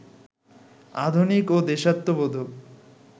আধুনিক ও দেশাত্মবোধক